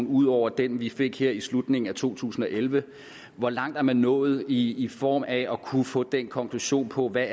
ud over den vi fik her i slutningen af 2011 hvor langt er man nået i i form af at kunne få den konklusion på hvad